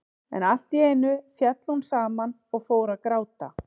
En allt í einu féll hún saman og fór að gráta.